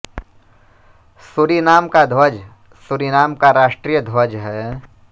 Suriname का ध्वज Suriname का राष्ट्रीय ध्वज है